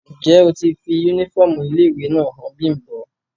Njẹ o ti fi unifọmú ile-iwe náa han Bimbo?